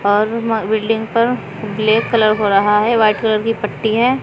और बिल्डिंग पर black colour हो रहा है वाइट कलर की पट्टी है।